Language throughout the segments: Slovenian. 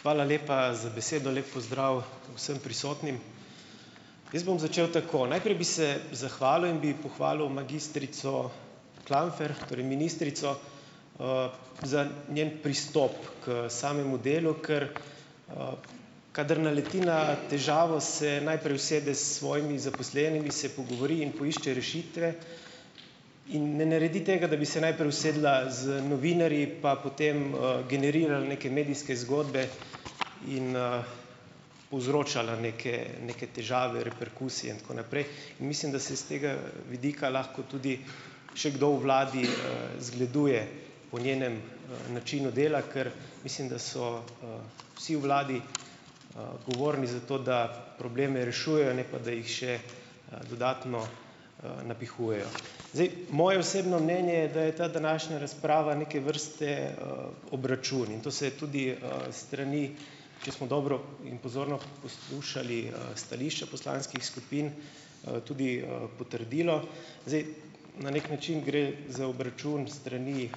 Hvala lepa za besedo, lep pozdrav vsem prisotnim. Jaz bom začel tako. Najprej bi se zahvalil in bi pohvalil magistrico Klampfer, torej ministrico za njen pristop k samemu delu, ker kadar naleti na težavo , se najprej usede s svojimi zaposlenimi, se pogovori in poišče rešitve in ne naredi tega, da bi se najprej usedla z novinarji, pa potem generirala neke medijske zgodbe in povzročala neke, neke težave, reperkusije in tako naprej, in mislim, da se s tega vidika lahko tudi še kdo v Vladi zgleduje po njenem načinu dela, kar mislim, da so vsi v Vladi odgovorni za to, da probleme rešujejo, ne pa da jih še dodatno napihujejo. Zdaj, moje osebno mnenje je, da je ta današnja razprava neke vrste obračun in to se tudi strani, če smo dobro in pozorno poslušali stališča poslanskih skupin, tudi potrdilo. Zdaj na neki način gre za obračun s strani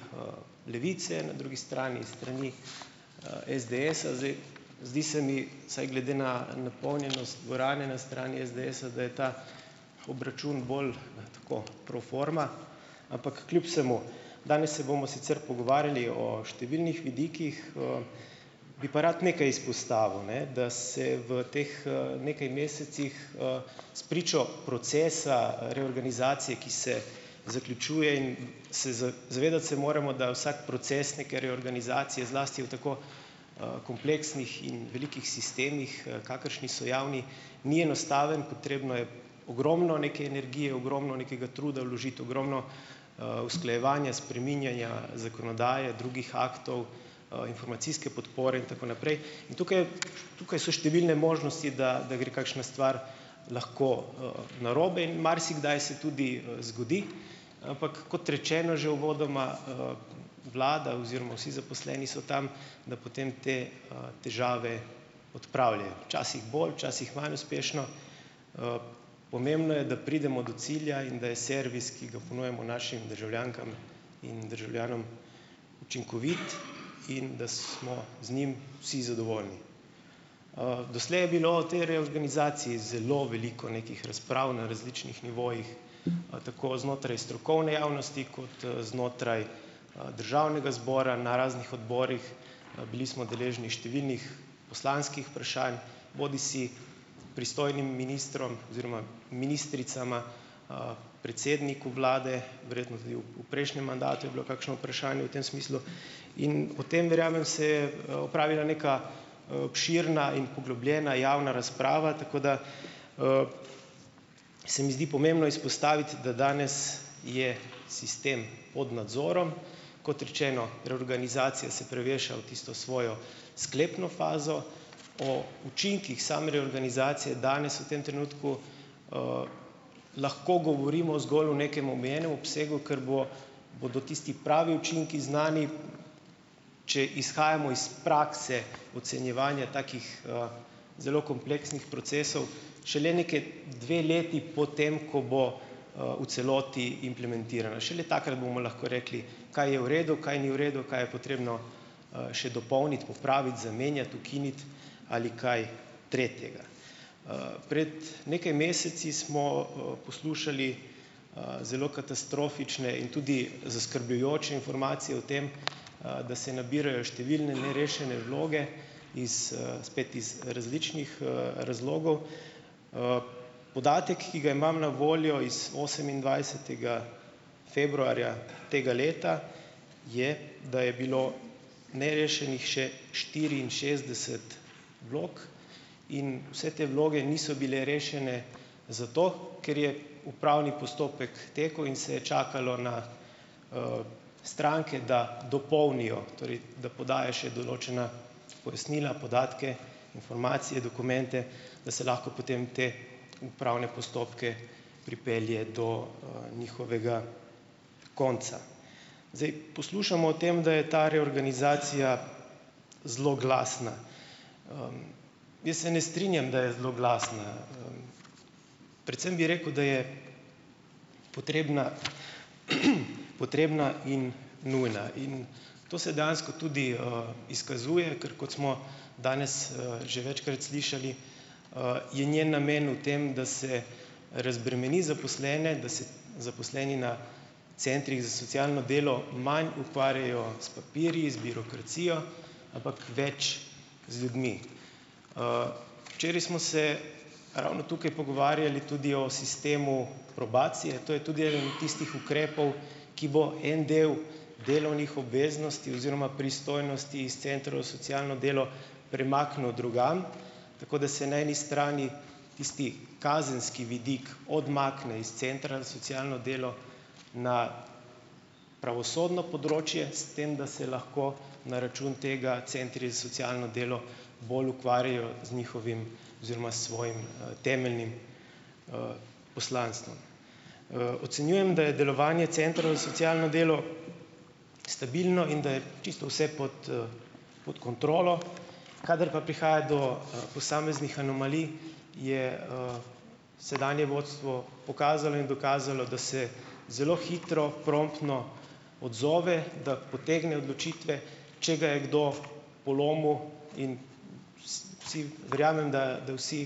Levice, na drugi strani s strani SDS-a zdaj, zdi se mi, saj glede na napolnjenost dvorane na strani SDS-a, da je ta obračun bolj tako, pro forma, ampak kljub vsemu, danes se bomo sicer pogovarjali o številnih vidikih bi pa rad nekaj izpostavil, ne, da se v teh nekaj mesecih spričo procesa reorganizacije, ki se zaključuje, in se zavedati se moramo, da vsak proces neke reorganizacije, zlasti v tako kompleksnih in velikih sistemih, kakršni so javni, ni enostaven, potrebno je ogromno neke energije, ogromno nekega truda vložiti, ogromno usklajevanja, spreminjanja zakonodaje drugih aktov, informacijske podpore in tako naprej. In tukaj, tukaj so številne možnosti, da, da gre kakšna stvar lahko narobe in marsikdaj se tudi zgodi, ampak kot rečeno že uvodoma, Vlada oziroma vsi zaposleni so tam, da potem te težave odpravljajo. Včasih bolj, včasih manj uspešno, pomembno je, da pridemo do cilja in da je servis, ki ga ponujamo našim državljankam in državljanom, učinkovit in da smo z njim vsi zadovoljni. doslej je bilo te reorganizacije zelo veliko, nekih razprav na različnih nivojih, tako znotraj strokovne javnosti kot znotraj Državnega zbora na raznih odborih, bili smo deležni številnih poslanskih vprašanj, bodisi pristojnim ministrom oziroma ministricama, predsedniku Vlade, verjetno tudi v, v prejšnjem mandatu je bilo kakšno vprašanje v tem smislu in o tem verjamem se je opravila neka širna in poglobljena javna razprava, tako da se mi zdi pomembno izpostaviti, da danes je sistem pod nadzorom, kot rečeno reorganizacija se preveša v tisto svojo sklepno fazo. O učinkih same reorganizacije danes v tem trenutku lahko govorimo zgolj v nekem omejenem obsegu, kar bo, bodo tisti pravi učinki znani, če izhajamo iz prakse ocenjevanja takih zelo kompleksnih procesov , šele neki dve leti po tem, ko bo v celoti implementirana. Šele takrat bomo lahko rekli, kaj je v redu, kaj ni v redu, kaj je potrebno še dopolniti, popraviti, zamenjati, ukiniti ali kaj tretjega. pred nekaj meseci smo poslušali zelo katastrofične in tudi zaskrbljujoče informacije o tem, da se nabirajo številne nerešene vloge iz spet iz različnih razlogov. podatek, ki ga imam na voljo z osemindvajsetega februarja tega leta, je, da je bilo nerešenih še štiriinšestdeset vlog in vse te vloge niso bile rešene zato, ker je upravni postopek tekel in se je čakalo na stranke, da dopolnijo, torej, da podajo še določena pojasnila, podatke informacije, dokumente, da se lahko potem te upravne postopke pripelje do njihovega konca. Zdaj, poslušamo o tem, da je ta reorganizacija zloglasna. jaz se ne strinjam, da je zloglasna predvsem bi rekel, da je potrebna, potrebna in nujna in to se dejansko tudi izkazuje, ker kot smo danes že večkrat slišali, in je namen v tem, da se razbremeni zaposlene, da se zaposleni na Centrih za socialno delo manj ukvarjajo s papirji, z birokracijo, ampak več z ljudmi. včeraj smo se ravno tukaj pogovarjali tudi o sistemu probacije, to je tudi eden od tistih ukrepov , ki bo en del delovnih obveznosti oziroma pristojnosti iz Centrov z socialno delo premaknil drugam, tako da se na eni strani tisti, kazenski vidik odmakne iz Centra za socialno delo na pravosodno področje, s tem da se lahko na račun tega Centri za socialno delo bolj ukvarjajo z njihovim oziroma svojim temeljnim poslanstvom. ocenjujem, da je delovanje Centra za socialno delo stabilno in da je čisto vse pod pod kontrolo, kadar pa prihaja do posameznih anomalij je sedanje vodstvo pokazalo in dokazalo, da se zelo hitro, promptno odzove, da potegne odločitve, če ga je kdo polomil, in verjamem da, da vsi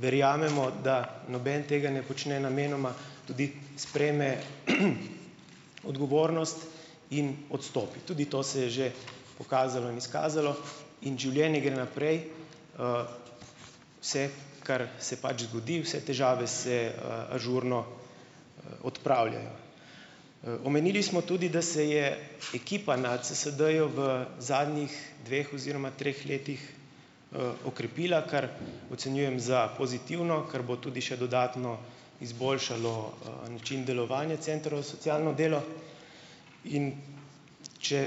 verjamemo, da noben tega ne počne namenoma, tudi sprejme odgovornost in odstopi. Tudi to se je že pokazalo in izkazalo in življenje gre naprej. vse, kar se pač zgodi, vse težave se ažurno odpravljajo. omenili smo tudi, da se je ekipa na CSD-ju v zadnjih dveh oziroma treh letih okrepila, kar ocenjujem za pozitivno, kar bo tudi še dodatno izboljšalo način delovanja Centra za socialno delo, in če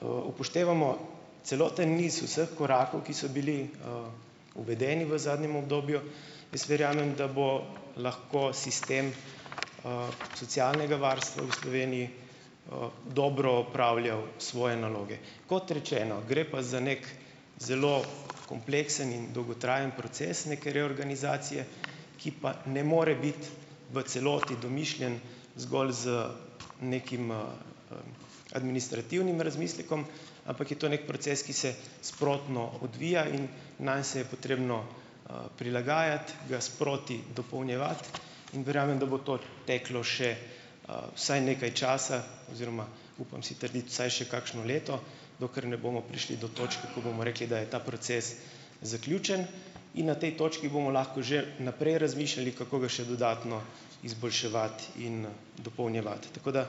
upoštevamo celoten niz vseh korakov, ki so bili uvedeni v zadnjem obdobju. Jaz verjamem, da bo lahko sistem socialnega varstva v Sloveniji dobro opravljal svoje naloge. Kot rečeno, gre pa za nek zelo kompleksen in dolgotrajen proces neke reorganizacije, ki pa ne more biti v celoti domišljen zgolj z nekim administrativnim razmislekom, ampak je to nek proces, ki se sprotno odvija, in nanj se je potrebno prilagajati, ga sproti dopolnjevati in verjamem, da bo to teklo še vsaj nekaj časa oziroma upam si trditi vsaj še kakšno leto, dokler ne bomo prišli do točk, ko bomo rekli, da je ta proces zaključen. In na tej točki bomo lahko že naprej razmišljali, kako bi še dodatno izboljševati in dopolnjevati, tako da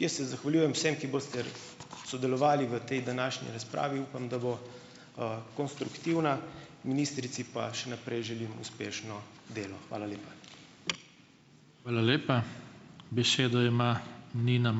jaz se zahvaljujem vsem, ki boste sodelovali v tej današnji razpravi, in upam, da bo konstruktivna, ministrici pa še naprej želim uspešno delo. Hvala lepa. Hvala lepa. Besedo ima Nina